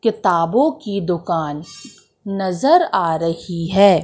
किताबों की दुकान नजर आ रही है।